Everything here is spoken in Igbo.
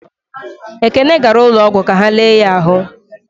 Ekene gara ụlọọgwụ ka ha lele ya ahụ.